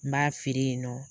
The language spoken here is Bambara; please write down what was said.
N b'a feere yen nɔ